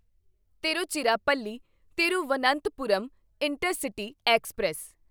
Tiruchirappalli Thiruvananthapuram intercity express